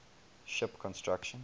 ship construction